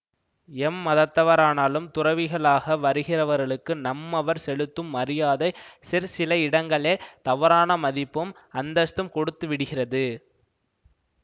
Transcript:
எம்மதத்தவரானாலும் துறவிகளாக வருகிறவர்களுக்கு நம்மவர் செலுத்தும் மரியாதை சிற்சில இடங்களில் தவறான மதிப்பும் அந்தஸ்தும் கொடுத்து விடுகிறது